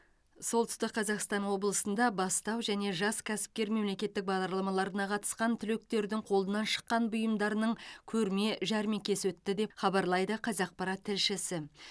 солтүстік қазақстан облысында бастау және жас кәсіпкер мемлекеттік бағдарламаларына қатысқан түлектердің қолынан шыққан бұйымдарының көрме жәрмеңкесі өтті деп хабарлайды қазақпарат тілшісі